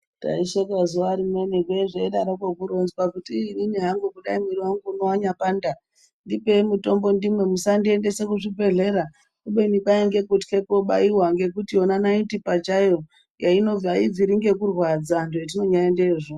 Taisheka zuwarimwe zvee zveidaroko kuronzwa kuti iiii inini hangu dai mwiri wangu uno wanyapanda ndipei mutombo ndimwe musandiendesa kuzvibhedhlera kubeni kwaiye kutya kobaiwa ngekuti yona naiti pachayo inozi aibviri nekurwadza zvetinonyaendeyozvo.